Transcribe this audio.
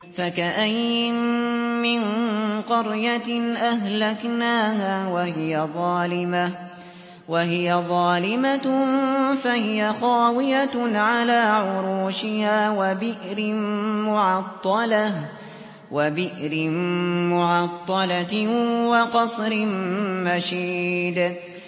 فَكَأَيِّن مِّن قَرْيَةٍ أَهْلَكْنَاهَا وَهِيَ ظَالِمَةٌ فَهِيَ خَاوِيَةٌ عَلَىٰ عُرُوشِهَا وَبِئْرٍ مُّعَطَّلَةٍ وَقَصْرٍ مَّشِيدٍ